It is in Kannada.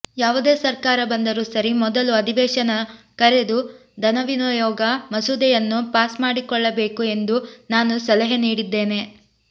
ಯಾವುದೇ ಸರ್ಕಾರ ಬಂದರೂ ಸರಿ ಮೊದಲು ಅಧಿವೇಶನ ಕರೆದು ಧನವಿನಿಯೋಗ ಮಸೂದೆಯನ್ನು ಪಾಸ್ ಮಾಡಿಕೊಳ್ಳಬೇಕು ಎಂದು ನಾನು ಸಲಹೆ ನೀಡಿದ್ದೇನೆ